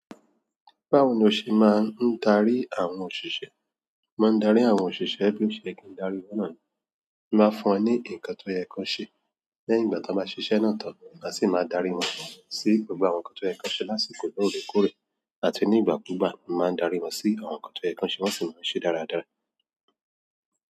Báwo ni o ṣe máa ń gbe darí àwọn òṣìṣẹ́? Mo darí àwọn òṣìṣẹ́ bí o ṣe kí darí wọn náà ni. Mo máa fún wọn ní nǹkan tó yẹ kó ṣe, lẹ́yìn ìgbà tí wọ́n bá ṣiṣẹ́ náà tán, màá sì máa darí wọn sí gbogbo àwọn ǹkan tó yẹ kó ṣe lásìkò lóore kóòrè àti ní ìgbà kúgbà. Mo máa darí wọn sí àwọn ǹkan tó yẹ kó ṣe wọ́n sì máa ń ṣe dáradára.